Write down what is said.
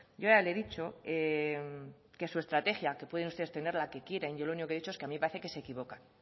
yo ya le he dicho que su estrategia que pueden ustedes tener la que quieran yo lo único que he dicho que a mí me parece que se equivocan